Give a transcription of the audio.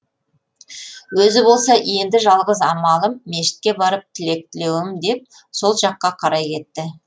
өзі болса енді жалғыз амалым мешітке барып тілек тілеуім деп сол жаққа қарай кетті